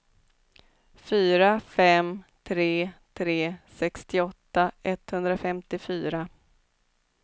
fyra fem tre tre sextioåtta etthundrafemtiofyra